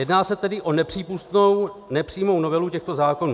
Jedná se tedy o nepřípustnou nepřímou novelu těchto zákonů.